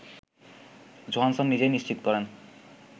Johansson নিজেই নিশ্চিত করেন